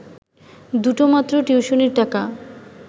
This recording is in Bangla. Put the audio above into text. দুটো মাত্র টিউশনির টাকা